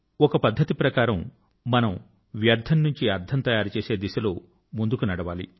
ఒక ప్రకారం గా మనం వ్యర్థం నుంచి అర్థం తయారు చేసే దిశలో ముందుకు నడవాలి